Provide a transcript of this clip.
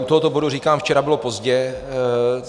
U tohoto bodu říkám včera bylo pozdě.